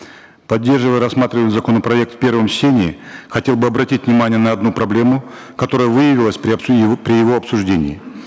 поддерживая рассматриваемый законопроект в первом чтении хотел бы обратить внимание на одну проблему которая выявилась при при его обсуждении